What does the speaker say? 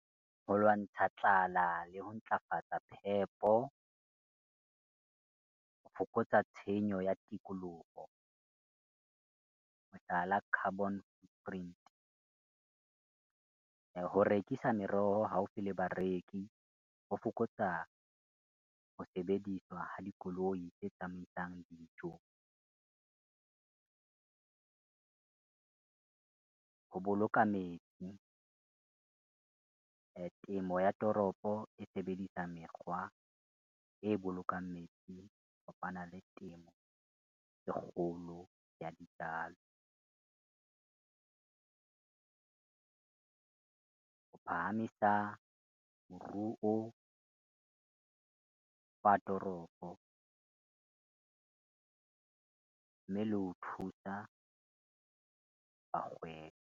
Ho lwantsha le ho ntlafatsa phepo ho fokotsa tshenyo ya tikoloho, ho tlala carbon footprint. Ho rekisa meroho haufi le bareki, ho fokotsa ho sebediswa ha dikoloi tse tsamaisang dijo, ho boloka metsi temo ya toropo e sebedisa mekgwa e bolokang metsi le temo e kgolo ya dijalo, ho phahamisa moruo wa toropo mme le ho thusa .